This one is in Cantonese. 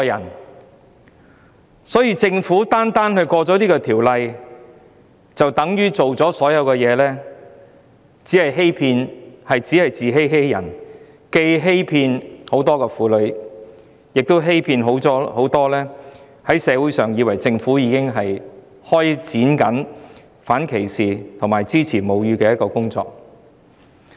如果政府認為通過《條例草案》，便等於做好所有工作，這只是自欺欺人，既欺騙了很多婦女，又欺騙了社會上很多人，他們以為政府已經開展反歧視和支持餵哺母乳的工作。